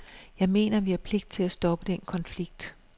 Jeg mener, at vi har pligt til at stoppe den konflikt.